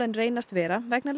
en reynast vera vegna